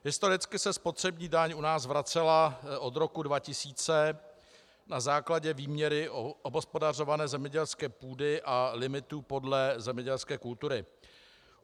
Historicky se spotřební daň u nás vracela od roku 2000 na základě výměry obhospodařované zemědělské půdy a limitů podle zemědělské kultury.